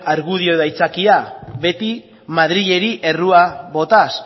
argudio edo haitzakia beti madrileri errua botaz